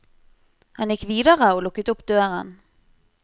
Han gikk videre og lukket opp døren.